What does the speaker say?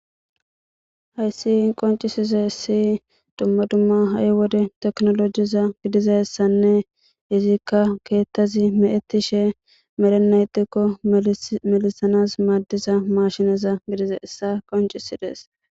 hayssi qoncisizeyasi dumma dumma ha7i wode teknolojiza gidizassanne izikka keettazi meettishe melenaytikko melisanas maaddisa mashineza gidizayissa qoncisides